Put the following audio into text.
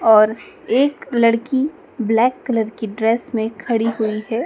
और एक लड़की ब्लैक कलर की ड्रेस में खड़ी हुई है।